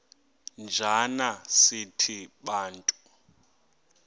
njana sithi bantu